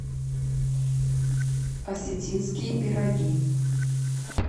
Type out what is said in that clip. осетинские пироги